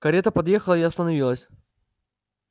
карета подъехала и остановилась